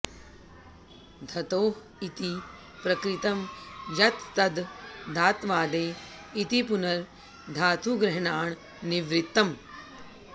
धतोः इति प्रकृतं यत् तद् धात्वादेः इति पुनर् धातुग्रहणान् निवृत्तम्